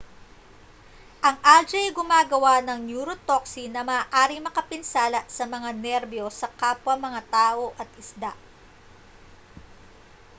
ang algae ay gumagawa ng neurotoxin na maaaring makapinsala sa mga nerbiyos sa kapwa mga tao at isda